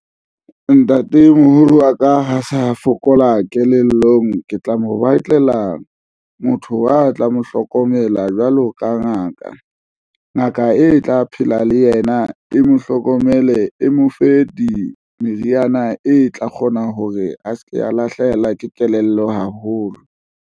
Ntatemoholo wa ka ha sa fokola kelellong, ke tla mo batlela motho wa tla mo hlokomela jwalo ka ngaka. Ngaka e tla phela le yena e mo hlokomele e mo fe di meriana e tla kgona hore a se ke a lahlehelwa ke kelello haholo.